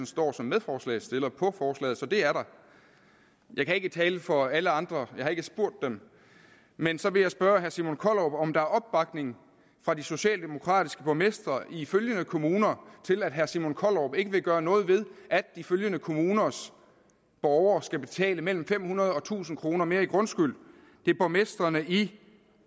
står som medforslagsstiller på forslaget så det er der jeg kan ikke tale for alle andre jeg har ikke spurgt dem men så vil jeg spørge herre simon kollerup om der er opbakning fra de socialdemokratiske borgmestre i følgende kommuner til at herre simon kollerup ikke vil gøre noget ved at de følgende kommuners borgere skal betale mellem fem hundrede og tusind kroner mere i grundskyld det er borgmestrene i